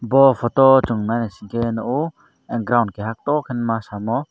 bo photo o song nai naisike nogo ground kaha tor ke masamo.